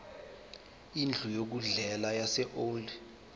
indlu yokudlela yaseold